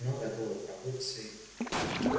ну готовой продукцией